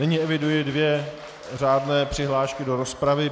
Nyní eviduji dvě řádné přihlášky do rozpravy.